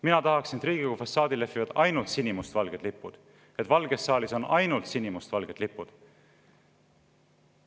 Mina tahaksin, et Riigikogu fassaadil lehviksid ainult sinimustvalged lipud ja et valges saalis oleksid ainult sinimustvalged lipud.